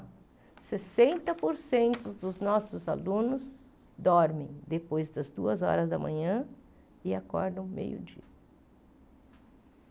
Sessenta por cento dos nossos alunos dormem depois das duas horas da manhã e acordam meio dia.